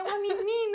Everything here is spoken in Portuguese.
É uma